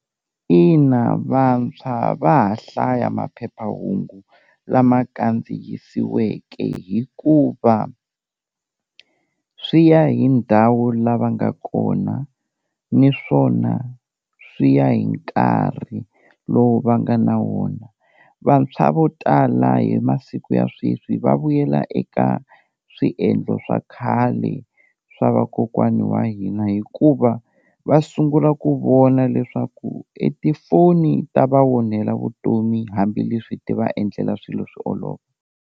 Ina vantshwa va ha hlaya maphephahungu lama kandziyisiweke hikuva swi ya hi ndhawu lava nga kona naswona swi ya hi nkarhi lowu va nga na wona, vantshwa vo tala hi masiku ya sweswi va vuyela eka swiendlo swa khale swa vakokwani wa hina hikuva va sungula ku vona leswaku e tifoni ta va onhela vutomi hambileswi ti va endlela swilo swi olova.